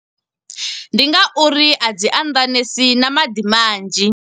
Ndi nga uri a dzi anḓanesi na maḓi manzhi.